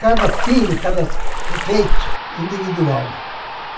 Cada pino, cada efeito individual.